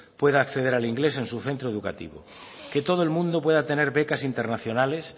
pueda acceder al inglés en su centro educativo que todo el mundo pueda tener becas internacionales